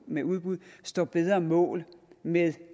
med udbud står bedre mål med